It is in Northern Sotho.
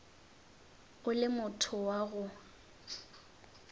o le motho wa go